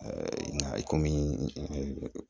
nka i komi